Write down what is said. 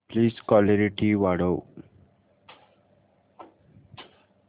please clarity वाढव